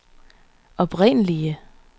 oprindelige